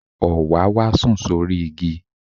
Òwáwá sùn sórí igi.